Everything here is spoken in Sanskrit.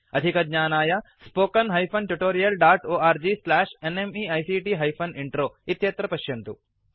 अधिकज्ञानाय spoken hyphen tutorial dot org slash NMEICT hyphen intro अत्र पश्यन्तु